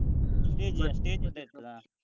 Stage stage ಉದ್ದ ಇರ್ತದಾ.